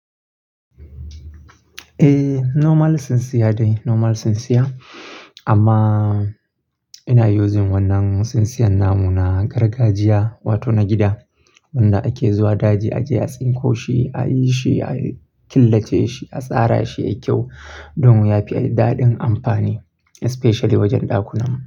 Eh, normal tsintsiya dai normal tsintsiya. Amma ina using wannan tsintsiyan namu na gargajiya wato na gida wanda ake zuwa daji aje a tsinko shi, a yi shi, a killace shi, a tsara shi ya yi kyau domin ya fi daɗin amfani especially wajen ɗakunan mu.